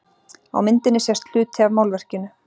Á myndinni sést hluti af málverkinu.